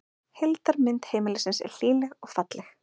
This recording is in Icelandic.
Heildarmynd heimilisins er hlýleg og falleg